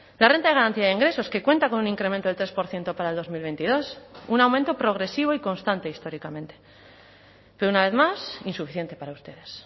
la renta de garantía de ingresos que cuenta con un incremento del tres por ciento para el dos mil veintidós un aumento progresivo y constante históricamente pero una vez más insuficiente para ustedes